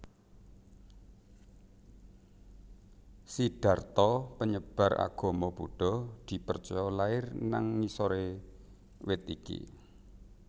Siddharta penyebar agama Buddha dipercaya lair nang ngisore wit iki